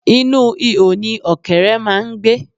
Inú ihò ni ọ̀kẹ́ré máà ń gbé.